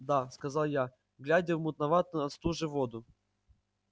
да сказал я глядя в мутноватую от стужи воду